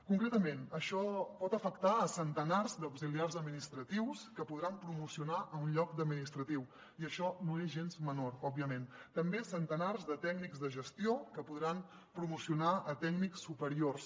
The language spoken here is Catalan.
concretament això pot afectar centenars d’auxiliars administratius que podran promocionar a un lloc d’administratiu i això no és gens menor òbviament també centenars de tècnics de gestió que podran promocionar a tècnics superiors